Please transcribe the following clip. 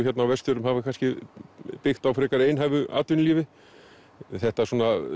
hérna á Vestfjörðum hafa byggt á frekar einhæfu atvinnulífi þetta